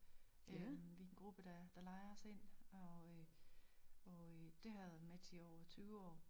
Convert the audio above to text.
Øh vi en gruppe der der lejer os ind og øh og øh det har jeg været med til i over 20 år